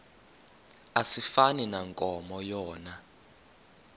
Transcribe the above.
asifani nankomo yona